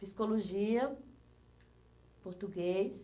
Psicologia, português.